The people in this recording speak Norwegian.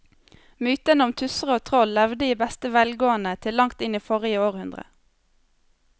Mytene om tusser og troll levde i beste velgående til langt inn i forrige århundre.